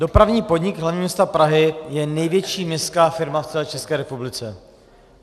Dopravní podnik hlavního města Prahy je největší městská firma v celé České republice.